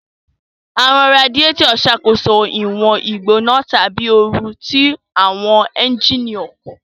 Awọn raadiyetọ ṣakoso iwọn igbona tabi ooru ti awọn ẹnjínì ọkọ